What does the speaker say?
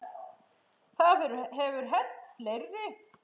Það hefur hent fleiri.